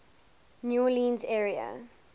new orleans area